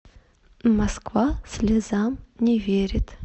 москва слезам не верит